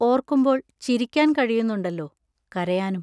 ഓർക്കുമ്പോൾ ചിരിക്കാൻ കഴിയുന്നുണ്ടല്ലോ; കരയാനും.